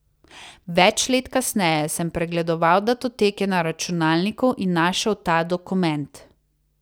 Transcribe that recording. Več let kasneje sem pregledoval datoteke na računalniku in našel ta dokument.